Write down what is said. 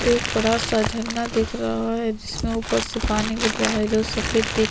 एक बड़ा -सा झंडा दिख रहा है जिसमे ऊपर से पानी गिर रहा है जो सफ़ेद दिख --